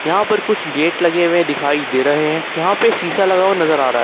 यहां पर कुछ गेट लगे हुए दिखाई दे रहे हैं यहां पे शीशा लगा हुआ नजर आ रहा--